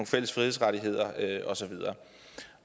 fælles frihedsrettigheder og så videre